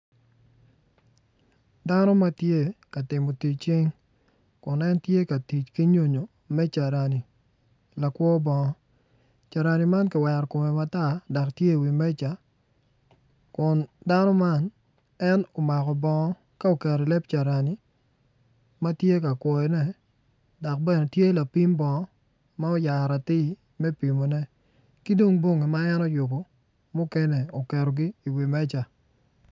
Dano ma tye ka timo tic cing kun en tye ka tic ki nyonyo carani lakwo bongo carani man ki wero kumme makwar dok tye i wi meja kun dano man en umako bongo ka uketo i leb carani ma tye ka kwoyone dok bene tye lapim bongo ma oyaro atir me pimone ki dong bongi ma en oyubu mukene uketogi i wi meja